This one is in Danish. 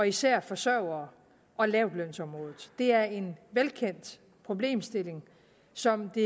især forsørgere og lavtlønsområdet det er en velkendt problemstilling som det